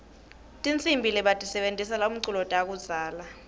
tihsimbi lebatisebentisela umculo takudzala